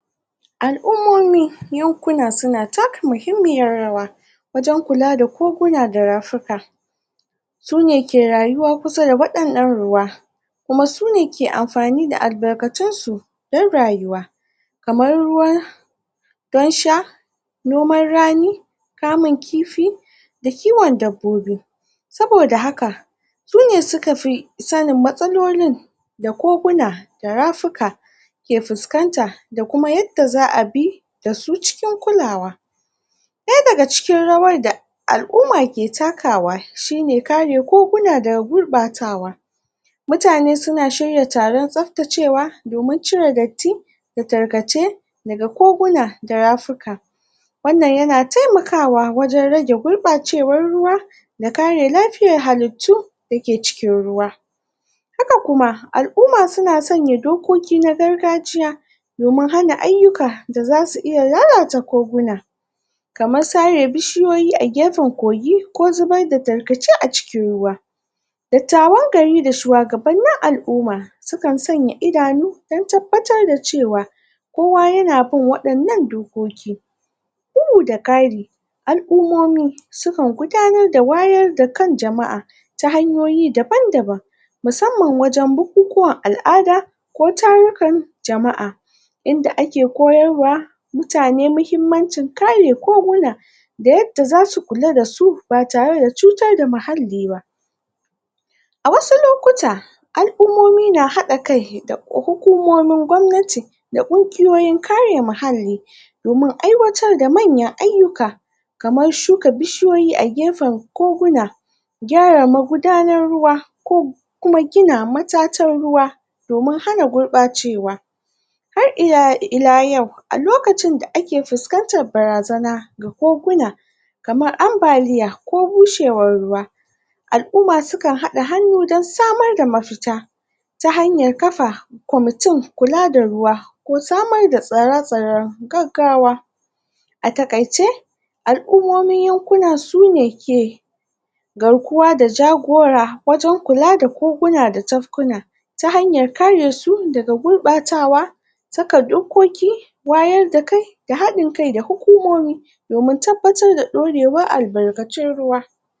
alummomi yankuna suna taka mahimmiyar rawa wajen kula da koguna da rafika sune ke rayuwa kusa da wayna nan ruwa kuma sune ke anfani da albarkacin su dan rayuwa kaman ruwan ruwan sha noman rani kamun kifi da kiwon dabbobi sabo da haka sune suka fi sanin matsalolin da koguna da rafika ke fuskanta da kuma yadda zaabi da su cikin kulawa da ya da ga cikin rawar da, alumma ke dakawa shine kare koguna daga gurbacewa mutane suna shirya taron tsaftacewa domin cire datti da tarkace daga koguna da rafuka wan nan yana taimakawa wajen gurbacewan ruwa da kare lafiyan halittu da ke cikin ruwa haka kuma alumma suna sanya harkoki na gargajiya domin hana aiyuka da zasu lalata koguna kaman sare bishiyoyi a gafen kogi, ko zubar da tarkace a cikin ruwa dattawan gari da shuwa gaban nin alumma sukan sanya idanu dan tabbatar da cewa kowa yana bin wayan nan dokoki bugu da kari al'ummomi sukan gudanar da wayar da kan jamaa ta hanyoyi da ban da ban musamman wajen bukukuwan alada ko tarikan jamaa inda ake koyarwa mutane muhimmancin kare koguna da yadda zasu kula da su ba tare da tsutar da muhalliba a wasu lokuta al'ummomi na hada kai da hukumomin kwamnati da kungiyoyin kare muhalli domin aiwatar da manyan aiyuka kaman shuka bishiyoyi a gefen koguna kyara magudanar ruwa ko kuma gina matatan ruwa domin hana gurbacewa har ila yau a lokacin da ake fuskantan barazana ga koguna kamar anbaliya ko bushewan ruwa al'umma sukan hada hanu dan samar da mafita ta hanyan kafa comitin kula da ruwa ko samar da tsare-tsaren gaggawa a takaice alummomin yankuna sune ke garkuwa da jagora wajen kula da koguna da yankuna ta hanyan karesu daga gurbacewa saka dokoki, wayar da kai, da hada kai da dokoki domin tabbatar da dorewar albarkacin ruwa